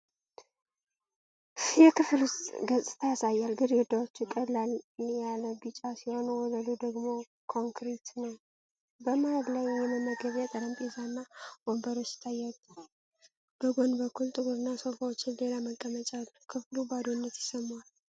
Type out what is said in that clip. የክፍል ውስጥ ገጽታ ያሳያል። ግድግዳዎቹ ቀለል ያለ ቢጫ ሲሆኑ ወለሉ ደግሞ ኮንክሪት ነው። በመሃል ላይ የመመገቢያ ጠረጴዛና ወንበሮች ይታያሉ። በጎን በኩል ጥቁር ሶፋዎችና ሌላ መቀመጫ አለ። ክፍሉ ባዶነት ይሰማዋል።